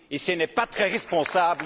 Ce n'est pas très responsable